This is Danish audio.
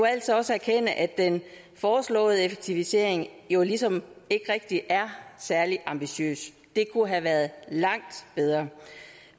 altså også erkende at den foreslåede effektivisering jo ligesom ikke rigtig er særlig ambitiøs det kunne have været langt bedre